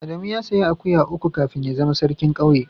Adamu ya sayi akuya uku kafin ya zama sarkin kauye.